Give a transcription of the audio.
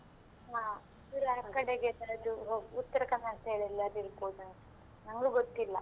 ಹಾ full ಆಕಡೆಗೆ ಅದು ಉತ್ತರಕನ್ನಡ ಇದೆಯೆಲ್ಲ ಅಲ್ಲಿ ಇರ್ಬೋದು ಅನ್ಸುತ್ತೆ, ನಂಗೂ ಗೊತ್ತಿಲ್ಲಾ.